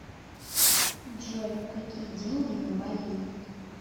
джой какие деньги на бали